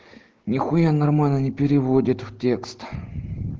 нихуя нормально не переводит в текст